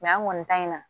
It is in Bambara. an kɔni ta in na